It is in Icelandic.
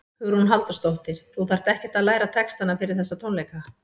Hugrún Halldórsdóttir: Þú þarft ekkert að læra textana fyrir þessa tónleika?